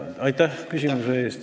Aitäh küsimuse eest!